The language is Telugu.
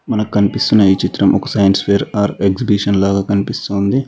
మనకు కనిపిస్తున్నాయి చిత్రం ఒక సైన్స్ ఫైర్ ఆర్ ఎగ్జిబిషన్ లాగా కనిపిస్తోంది.